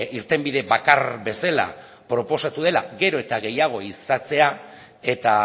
irtenbide bakar bezala proposatu dela gero eta gehiago ehizatzea eta